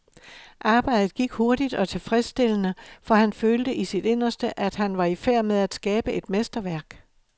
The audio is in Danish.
Arbejdet gik hurtigt og tilfredsstillende, for han følte i sit inderste, at han var i færd med at skabe et mesterværk.